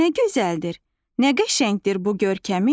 Nə gözəldir, nə qəşəngdir bu görkəmin?